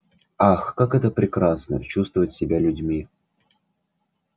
ах как это прекрасно чувствовать себя людьми